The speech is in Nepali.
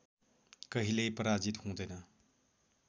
कहिल्यै पराजित हुँदैन